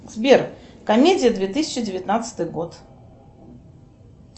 сбер комедия две тысячи девятнадцатый год